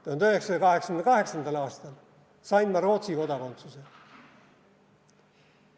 1988. aastal sain ma Rootsi kodakondsuse.